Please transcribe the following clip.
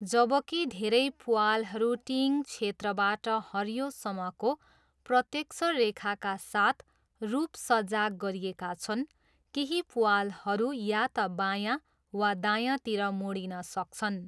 जबकि धेरै प्वालहरू टिइङ क्षेत्रबाट हरियोसम्मको प्रत्यक्ष रेखाका साथ रूपसज्जा गरिएका छन्, केही प्वालहरू या त बायाँ वा दायाँतिर मोडिन सक्छन्।